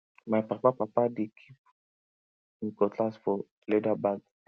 my papa papa dey kip him cutlass for leather bag